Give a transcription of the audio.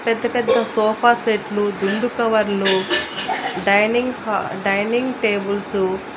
పెద్ద పెద్ద సోఫా సెట్లు దిండు కవర్లు డైనింగ్ హా డైనింగ్ టేబుల్సు --